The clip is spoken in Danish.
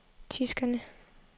tyskerne